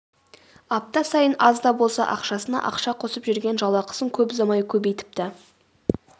апта сайын аз да болса ақшасына ақша қосып жүрген жалақысын көп ұзамай көбейтіпті